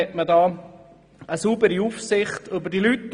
So hat man eine saubere Aufsicht über die Leute.